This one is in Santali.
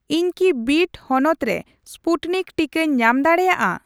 ᱤᱧ ᱠᱤ ᱵᱤᱰ ᱦᱚᱱᱚᱛ ᱨᱮ ᱥᱯᱩᱴᱱᱤᱠ ᱴᱤᱠᱟᱹᱧ ᱧᱟᱢ ᱫᱟᱲᱮᱭᱟᱜᱼᱟ ᱾